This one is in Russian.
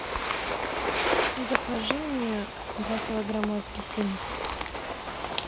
закажи мне два килограмма апельсинов